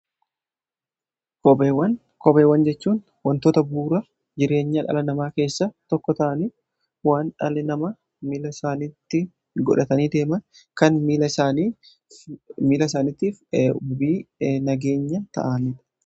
kopheewwan jechuun wantoota buura jireenya dhala namaa keessa tokko ta'anii waan dhalli nama miila saanitti godhatanii deema kan miila saanittiif nageenya ta'aniidha